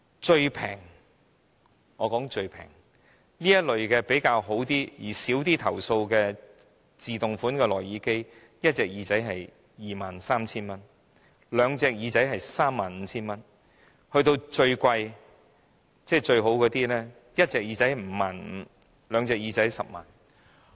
最便宜而又較少投訴的自動款式內耳機，一邊耳朵需要 23,000 元，兩邊耳朵要 35,000 元；而最昂貴又最好的款式，一邊耳朵需要 55,000 元，兩邊耳朵要 100,000 元。